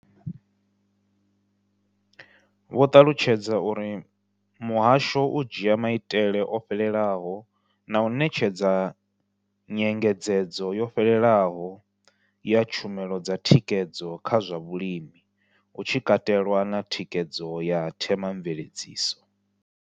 Vho ṱalutshedza uri muhasho u dzhia maitele o fhelelaho na u ṋetshedza nyengedzedzo yo fhelelaho ya tshumelo dza thikhedzo kha zwa vhulimi, hu tshi katelwa na thikhedzo ya thema mveledziso.